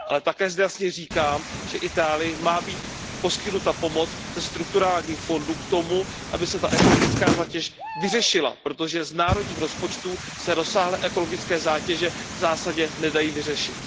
Ale také zde jasně říkám, že Itálii má být poskytnuta pomoc ze strukturálních fondů k tomu, aby se ta ekologická zátěž vyřešila, protože z národních rozpočtů se rozsáhlé ekologické zátěže v zásadě nedají vyřešit.